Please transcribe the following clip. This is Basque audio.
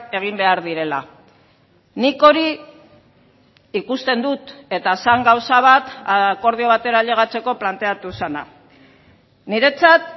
egin behar direla nik hori ikusten dut eta zen gauza bat akordio batera ailegatzeko planteatu zena niretzat